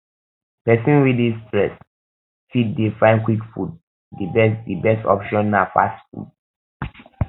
person um wey dey stressed fit dey find quick food di best di best option na fast food